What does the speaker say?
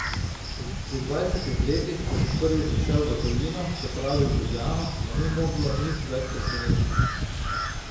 Pri dvajsetih letih, ko sem prvič odšel v tujino, se pravi v Ljubljano, me ni moglo nič več presenetiti.